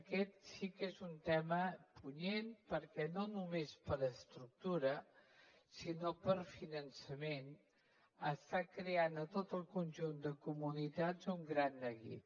aquest sí que és un tema punyent perquè no només per estructura sinó per finançament està creant a tot el conjunt de comunitats un gran neguit